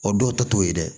O dɔw ta t'o ye dɛ